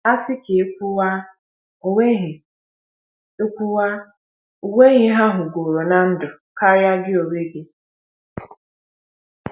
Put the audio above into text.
Asị ka ekwuwa, o onweghi ekwuwa, o onweghi ha hụrụgoro na ndụ karịa gị onwe gị